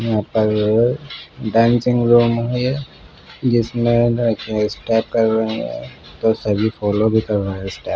यहाँ पर एक डांसिंग रूम है ये जिसमें स्टेप कर रहे हैं तो सभी फॉलो भी कर रहे हैं।